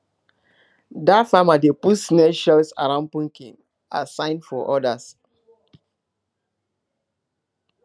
dat farmer dey put snail shells around pumpkin as sign for others